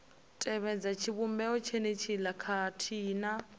tevhedza tshivhumbeo tshenetshiḽa khathihi na